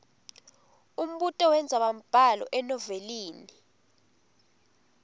umbuto wendzabambhalo enovelini